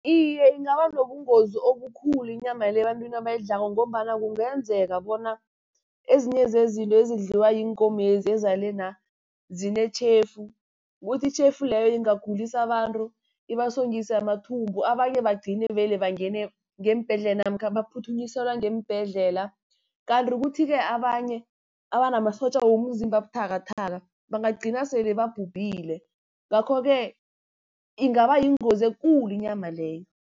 Iye, ingaba nobungozi obukhulu inyama le ebantwini abayidlako, ngombana kungenzeka bona ezinye zezinto ezidliwa ziinkomezi ezalena' zinetjhefu. Kuthi itjhefu leyo ingagulisa abantu ibasongise amathumbu, abanye bagcine vele bangene ngeembhedlela namkha baphuthunyiselwa ngeembhedlela. Kanti kuthi-ke abanye abanamasotja womzimba abuthakathaka, bangagcina sele babhubhile. Ngakho-ke ingaba yingozi ekulu inyama leyo.